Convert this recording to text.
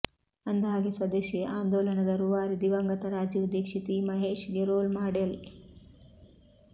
ಅಂದಹಾಗೆ ಸ್ವದೇಶಿ ಆಂದೋಲನದ ರುವಾರಿ ದಿವಂಗತ ರಾಜೀವ್ ದಿಕ್ಷೀತ್ ಈ ಮಹೇಶ್ಗೆ ರೋಲ್ ಮಾಡೆಲ್